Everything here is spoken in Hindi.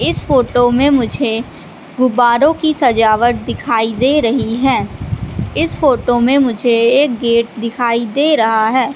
इस फोटो में मुझे गुब्बारों की सजावट दिखाई दे रही है इस फोटो में मुझे एक गेट दिखाई दे रहा है।